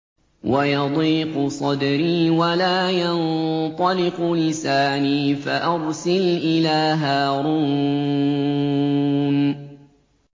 وَيَضِيقُ صَدْرِي وَلَا يَنطَلِقُ لِسَانِي فَأَرْسِلْ إِلَىٰ هَارُونَ